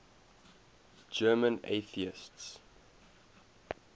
german atheists